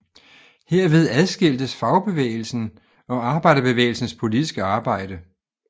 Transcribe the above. Herved adskiltes fagbevægelsen og arbejderbevægelsens politiske arbejde